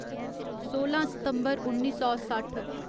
सोलां सितम्बर उन्नी सौ सट्ठ